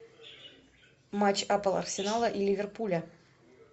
матч апл арсенала и ливерпуля